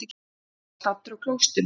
Hann var staddur á klósettinu.